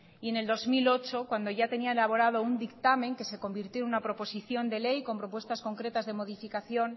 y en el dos mil ocho cuando ya tenía elaborado un dictamen que se convirtió en una proposición de ley con propuestas concretas de modificación